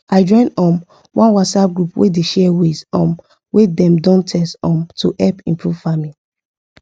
i join um one whatsapp group wey dey share ways um wey dem don test um to help improve farming